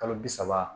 Kalo bi saba